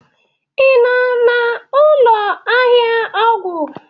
ị nọ n'ụlọ ahịa ọgwụ?